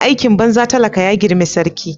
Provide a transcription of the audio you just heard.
Aikin banza talaka ya grime sarki.